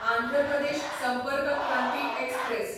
Andhra Pradesh Sampark Kranti express